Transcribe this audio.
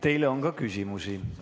Teile on ka küsimusi.